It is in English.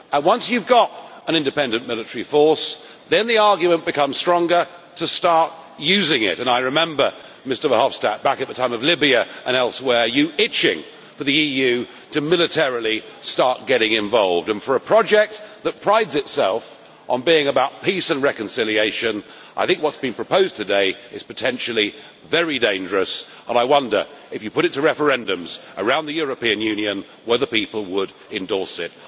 And once you have got an independent military force, then the argument becomes stronger to start using it. I remember, Mr Verhofstadt, back at the time of Libya and elsewhere you were itching for the EU to militarily start getting involved, and for a project that prides itself on being about peace and reconciliation, I think what is being proposed today is potentially very dangerous and I wonder, if you put it to referendums around the European Union, whether people would endorse